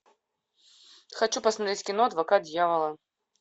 хочу посмотреть кино адвокат дьявола